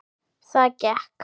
Það gekk.